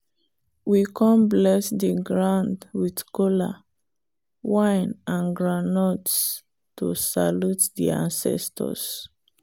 we come bless the ground with kola wine and groundnuts to salute the ancestors.